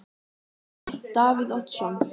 Breki: Davíð Oddsson?